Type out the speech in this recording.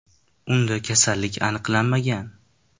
Unda kasallik aniqlanmagan.